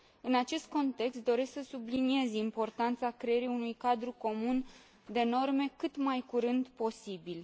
În acest context, doresc să subliniez importanța creării unui cadru comun de norme cât mai curând posibil.